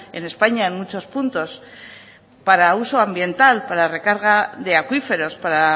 en españa en muchos puntos para uso ambiental para recarga de acuíferos para